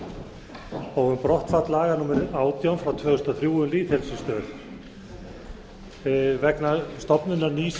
og um brottfall laga númer átján tvö þúsund og þrjú um lýðheilsustöð vegna stofnunar nýs